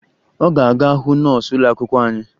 Ọ ga-aga hụ nọọsụ ụlọakwụkwọ anyị